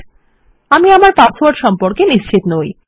Iআমি আমার পাসওয়ার্ড সম্পর্কে নিশ্চিত নই